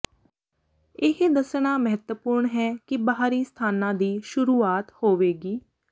ਇਹ ਦੱਸਣਾ ਮਹੱਤਵਪੂਰਣ ਹੈ ਕਿ ਬਾਹਰੀ ਸਥਾਨਾਂ ਦੀ ਸ਼ੁਰੂਆਤ ਹੋਵੇਗੀ